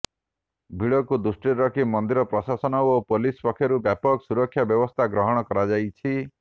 ଭିଡକୁ ଦୃଷ୍ଟିରେ ରଖି ମନ୍ଦିର ପ୍ରଶାସନ ଓ ପୋଲିସ ପକ୍ଷରୁ ବ୍ୟାପକ ସୁରକ୍ଷା ବ୍ୟବସ୍ଥା ଗ୍ରହଣ କରାଯାଇଛି